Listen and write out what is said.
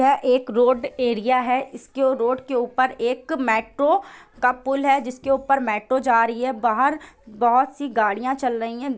वह एक road area है उसके रोड़ के ऊपर मेट्रो का पूल है जिसके ऊपर मेट्रो जा रही है| बाहर बहुत-सी गाड़ियां चल रही है।